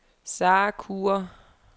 Sarah Kure